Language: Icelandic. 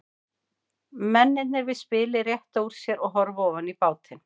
Mennirnir við spilið rétta úr sér og horfa ofan í bátinn.